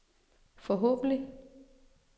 forhåbentlig